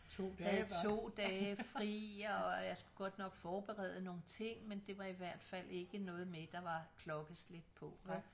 Havde to dage fri og jeg skulle godt nok forberede nogle ting men det var i hvert fald ikke noget med der var klokkeslæt på vel